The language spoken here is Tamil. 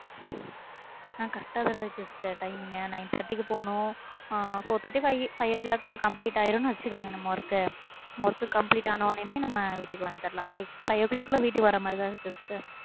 ஆஹ் correct ஆ வேற இருக்கு sister timing ங்கு nine thirty க்கு போனும் ஆ four thirty five five'o clock க்குள்ள complete ஆயிரும்ன்னு வச்சுக்கோங்க நம்ம work நம்ம work complete ஆன உடனேயுமே, நம்ம வீட்டுக்கு வந்துடலாம். இப்ப five'o clock குள்ள வீட்டுக்கு வர்ற மாதிரிதான் இருக்கு sister